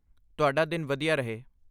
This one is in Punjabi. ਤੁਹਾਡਾ ਦਿਨ ਵਧੀਆ ਰਹੇ!